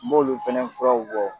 M'olu fɛnɛ furaw bɔ.